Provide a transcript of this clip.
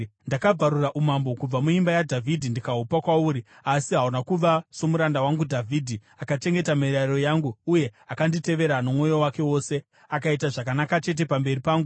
Ndakabvarura umambo kubva muimba yaDhavhidhi ndikahupa kwauri, asi hauna kuva somuranda wangu Dhavhidhi, akachengeta mirayiro yangu uye akanditevera nomwoyo wake wose, akaita zvakanaka chete pamberi pangu.